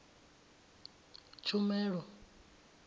tshumelo